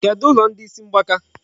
Kedụ ụlọ ndị isi mgbaka?